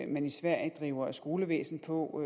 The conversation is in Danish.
man i sverige driver skolevæsen på